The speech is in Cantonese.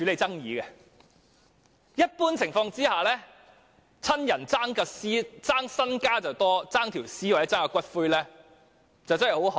在一般情況下，親人只會爭家產，甚少會爭奪遺體或骨灰。